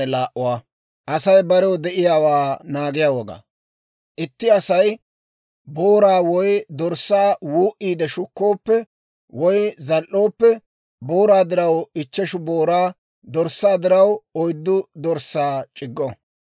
«Itti Asay booraa woy dorssaa wuu"iide shukkooppe, woy zal"ooppe, booraa diraw ichcheshu booraa, dorssaa diraw oyddu dorssaa c'iggo.